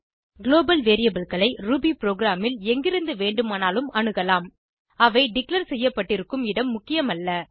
global variableகளை Ruby ப்ரோகிராமில் எங்கிருந்து வேண்டுமானாலும் அணுகலாம் அவை டிக்ளேர் செய்யப்பட்டிக்கும் இடம் முக்கியமல்ல